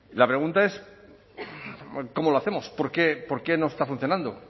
la pregunta es cómo lo hacemos por qué no está funcionando